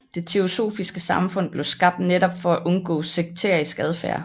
Det teosofiske Samfund blev skabt netop for at undgå sekterisk adfærd